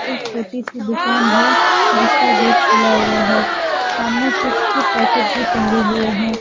एक छोटी सी दुकान है जिसका गेट खुला हुआ है सामने चिप्स के पैकेट भी टंगे हुए हैं।